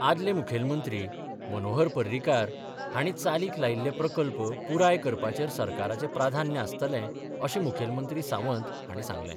आदले मुखेलमंत्री मनोहर पर्रीकार हांणी चालीक लायिल्ले प्रकल्प पुराय करपाचेर सरकाराचे प्राधान्य आसतलें अशें मुखेलमंत्री सावंत हांणी सांगलें.